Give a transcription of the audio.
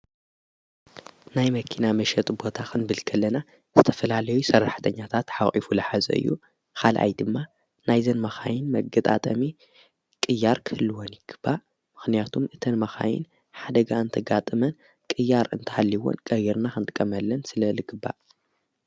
ናይ መኪና መሸጢ ቦታ ኽንብልተለና ዝተፈላለዩ ሰራሕተኛታት ሓቒፉ ልሓዘ እዩ። ኻልኣይ ድማ ናይዘን መኻይን መገጣጠሚ ቂያር ክህልወን ይግባእ። ምኽንያቱም እተን መኻይን ሓደጋ እንተጋጥመን ቂያር እንተሃሊይዎን ቀይርና ኽንጥቀመለን ስለ ልግባእ።